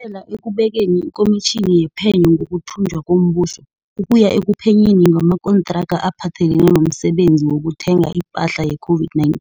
kela ekubekeni iKomitjhini yePhenyo ngokuThunjwa komBuso, ukuya ekuphenyeni ngamakontraka aphathelene nomsebenzi wokuthenga ipahla ye-COVID-19,